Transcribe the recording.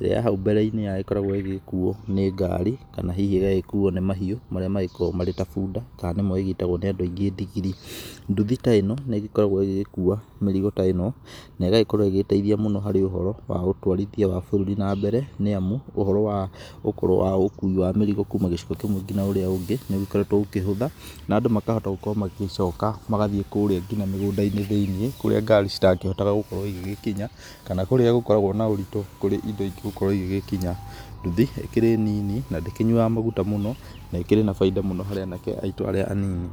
ĩrĩa hau mbereinĩ yagĩkoragwo ĩgĩkuwo nĩ ngari kana hihi magagĩkuwo nĩ mahiũ arĩa magĩkoragwo tarĩ ta buda kana ĩrĩa ĩgĩtagwo nĩ andũ aingĩ ndigiri, nduthi ta ĩno nĩgĩkoragwo ĩgĩgĩkuwa mĩrigo ta ĩno negagĩkorwo ĩgĩteithia harĩ ũhoro wa ũtwarithia wa bũrũri na mbere nĩamu ũhoro wa kuwa mĩrigo kuuma gĩcigo kĩmwe nginya ũrĩa ũngĩ nĩũkoretwe ũkĩhũtha na andũ makahota magĩcoka magathii nginya mĩgũndainĩ thĩinĩ kũrĩa ngari cirakĩhota ĩgĩgĩkinya kana kũrĩa kũgĩkoragwo na maũritũ kũrĩa ingĩgĩkinya, nduthi nĩ nini na ndĩkĩnyuaga magutha mũno na ĩkĩrĩ na baida mũno harĩ anake anini.